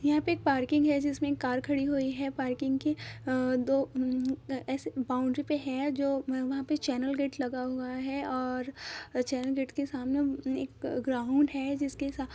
यहाँ पर एक पार्किंग हैं जिसमे एक कार खड़ी हुई हैं पार्किंग की दो ऐसे बाउंड्री पर हैं जो वहाँ पर चैनल गेट लगा हुआ हैं और चैनल गेट के सामने एक ग्राउंड हैं जिसके साम --